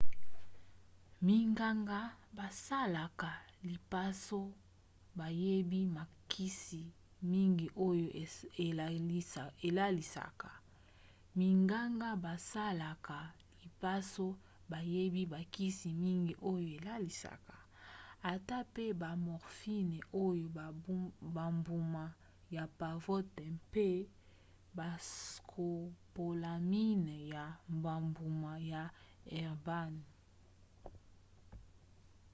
minganga basalaka lipaso bayebi bakisi mingi oyo elalisaka ata pe ba morphine oyo na bambuma ya pavot mpe bascopolamine ya bambuma ya herbane